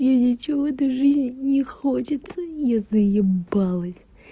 и ничего в этой жизни не хочется я заебалась